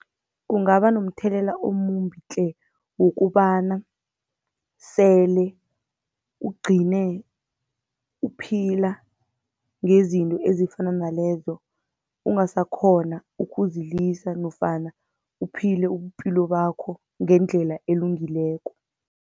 Kungaba nomthelela omumbi tle, wokobana sele ugcine uphila ngezinto ezifana nalezo, ungasakghona ukuzilisa nofana uphile ubupilo bakho ngendlela elungileko.